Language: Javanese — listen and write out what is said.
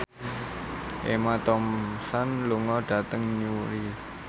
Emma Thompson lunga dhateng Newry